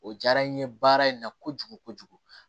O jara n ye baara in na kojugu kojugu